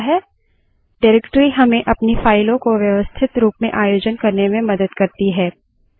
directory को फाइलों तथा अन्य उपdirectories के संग्रह के रूप में समझा जा सकता है